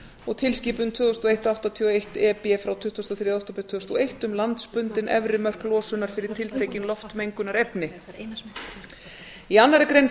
og tilskipun tvö þúsund og eitt áttatíu og eitt e b frá tuttugasta og þriðja október tvö þúsund og eitt um landsbundin efri mörk losunar fyrir tiltekin loftmengunarefni í annarri grein